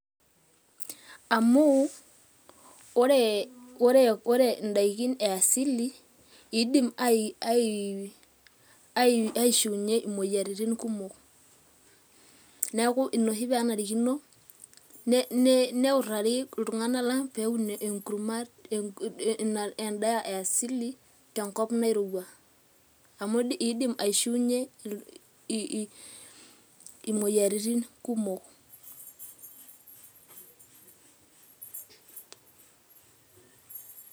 Amu ore indaikin e asili iidim aishiunyie imoyiaritin kumok, neeku ina oshi pee enarikino neutari iltung'anak lang' peyie eun endaa e asili tenkop nairowua amu iidim aishiunyie imoyiaritin kumok.